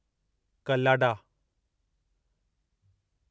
कल्लाडा